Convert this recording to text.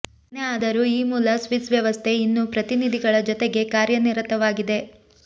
ಏನೇ ಆದರೂ ಈ ಮೂಲ ಸ್ವಿಸ್ ವ್ಯವಸ್ಥೆ ಇನ್ನೂ ಪ್ರತಿನಿಧಿಗಳ ಜೊತೆಗೇ ಕಾರ್ಯನಿರತವಾಗಿದೆ